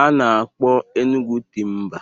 a na-akpọ Enugwu Timba